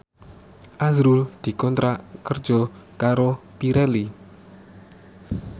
azrul dikontrak kerja karo Pirelli